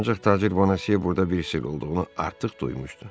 Ancaq tacir Boneziya burda bir sirr olduğunu artıq duymuşdu.